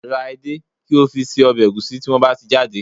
Ra edé, kí o fi se ọbẹ̀ ẹ̀gúsí tí wọ́n bá ti jáde